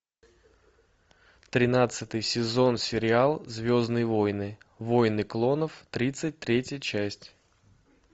тринадцатый сезон сериал звездные войны войны клонов тридцать третья часть